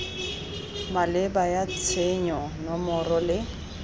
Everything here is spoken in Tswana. maleba ya tshenyo nomoro le